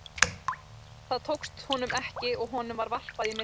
Það tókst honum ekki og honum var varpað í myrkrið.